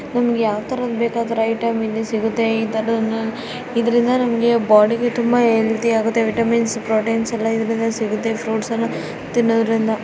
ನಿಮಗೆ ಯಾವ್ತರದ್ ಬೇಕಾದ್ರು ಐಟಂ ಇಲ್ಲಿ ಸಿಗತ್ತೆ ಇದನ್ನ ಇದ್ರಿಂದ ನಮಗೆ ಬಾಡಿ ಗೆ ತುಂಬಾ ಹೆಲ್ತ್ಯ್ ಆಗುತ್ತೆ. ವಿಟಮಿನ್ಸ್ ಪ್ರೊಟೀನ್ಸ್ ಎಲ್ಲ ಇದ್ರಿಂದ ಸಿಗುತ್ತೆ ಫ್ರೂಟ್ಸ್ ಎಲ್ಲ ತಿನ್ನೋದ್ರಿಂದ.